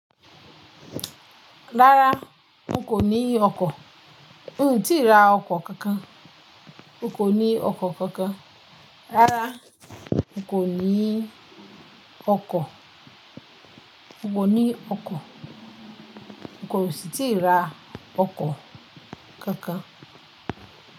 Rárá n kò ní ọkọ̀, n ò tíì ra ọkọ̀ kankan. N kò ní ọkọ̀ kankan. Rárá n kò ní ọkọ̀, n kò ní ọkọ̀. Kò sì tí ì ra ọkọ̀ kankan.